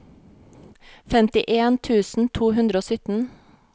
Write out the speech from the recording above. femtien tusen to hundre og sytten